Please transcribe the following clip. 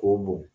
K'o bɔn